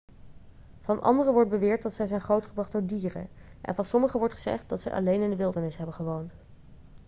van anderen wordt beweerd dat zij zijn grootgebracht door dieren en van sommigen wordt gezegd dat zij alleen in de wildernis hebben gewoond